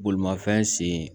Bolimafɛn sen